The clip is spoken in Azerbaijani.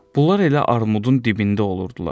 Bunlar elə armudun dibində olurdular.